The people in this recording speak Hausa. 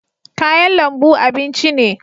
kayan lambu abinci ne